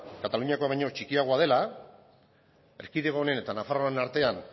kataluniakoa baino txikiagoa dela erkidego honen eta nafarroaren artean